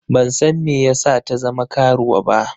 Ban san me yasa ta zama karuwa ba.